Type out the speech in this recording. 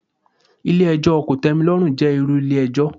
Ilé ẹjọ́ kòtẹ́milọ́rùn jẹ́ irú ilé ẹjọ́.